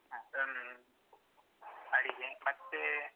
ಹ ಹ್ಮ್ ಅಡಿಕೆ ಮತ್ತೆ.